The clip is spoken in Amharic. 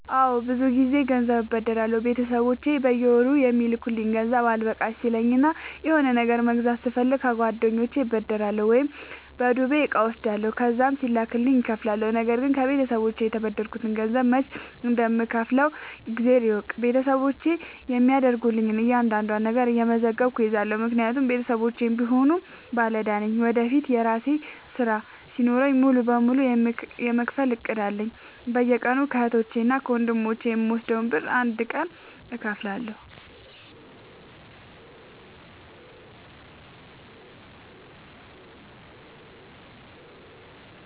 አዎድ ብዙ ግዜ ገንዘብ አበደራለሁ ቤተሰቦቼ በየወሩ የሚልኩልኝ ገንዘብ አልበቃሽ ሲለኝ እና የሆነ ነገር መግዛት ስፈልግ ከጓደኞቼ እበደራለሁ። ወይም በዱቤ እቃ እወስዳለሁ ከዛም ሲላክልኝ እከፍላለሁ። ነገርግን ከቤተሰቦቼ የተበደርከትን ገንዘብ መች እንደም ከውፍለው እግዜር ይወቅ ቤተሰቦቼ የሚያደርጉልኝን እያንዳዷን ነገር እየመዘገብኩ እይዛለሁ። ምክንያቱም ቤተሰቦቼም ቢሆኑ ባለዳ ነኝ ወደፊት የራሴ ስራ ሲኖረኝ ሙሉ በሙሉ የመክፈል እቅድ አለኝ። በየቀኑ ከህቶቼ እና ከወንድሞቼ የምወስደውን ብር አንድ ቀን እከፍላለሁ።